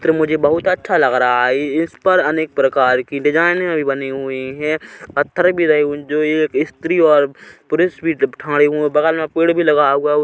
चित्र मुझे बहुत अच्छा लग रहा है इस पर अनेक प्रकार की डिज़ाइने बनी हुई है पत्थरे भी रही जो ये स्त्री और पुरुष भी थाड़े उआ बगल मा पेड़ भी लगा हुआ है उ--